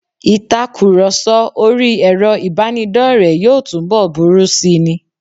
Ìtakurọ̀sọ orí ẹrọ ìbánidọ́rẹ̀ẹ́ yóò túnbọ̀ burú sí ni.